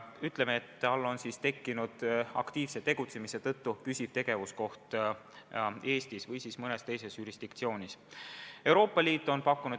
Ütleme, et ettevõttel on tekkinud aktiivse tegutsemise tõttu püsiv tegevuskoht Eestis või siis mõne teise jurisdiktsiooni all olevas riigis.